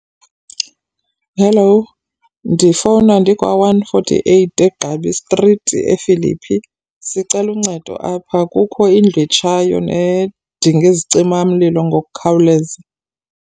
Hello, ndifowuna ndikwa-one forty eight eGqabi Street ePhilippi. Sicela uncedo apha kukho indlu etshayo nedinga izicimamlilo ngokukhawuleza.